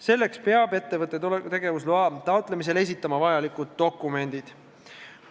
Selleks peab ettevõte tegevusloa taotlemisel esitama vajalikud dokumendid.